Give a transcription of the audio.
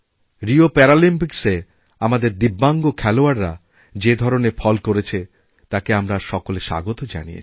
Rio প্যারালিম্পিক্সএ আমাদের দিব্যাঙ্গ খেলোয়াড়রা যে ধরনেরফল করেছে তাকে আমরা সকলে স্বাগত জানিয়েছি